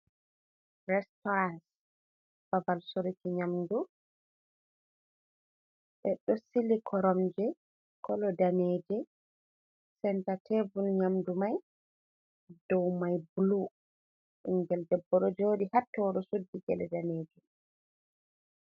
Restauran ɓabal soruki nyamdu ɓe ɗo sili koromje kolo kolo danejum, centa tevul nyamdu mai dow mai blu, ɓingel debbo ɗo jodi ha tow suddi gele danejum.